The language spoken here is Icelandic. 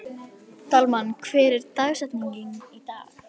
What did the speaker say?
Dalmann, hver er dagsetningin í dag?